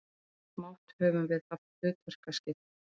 Smátt og smátt höfum við haft hlutverkaskipti.